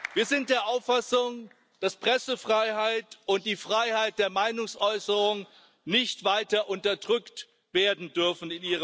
Wir sind der Auffassung, dass Pressefreiheit und die Freiheit der Meinungsäußerung in Ihrem Land nicht weiter unterdrückt werden dürfen.